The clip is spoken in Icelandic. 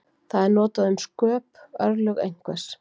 Það er notað um sköp, örlög einhvers.